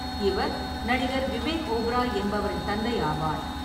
இவர் நடிகர் விவேக் ஓபராய் என்பவரின் தந்தையாவார்.